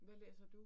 Hvad læser du?